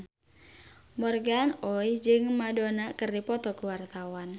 Morgan Oey jeung Madonna keur dipoto ku wartawan